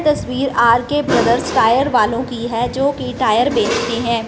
तस्वीर R K Brothers tyre वालों की है जो की टायर बेचती है।